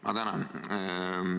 Ma tänan!